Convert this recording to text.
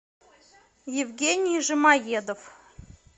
евгений жамоедов